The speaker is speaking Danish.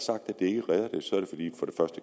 det